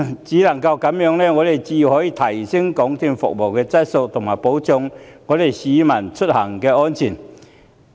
只有這樣才可以提升港鐵公司的服務質素，保障市民的出行安全。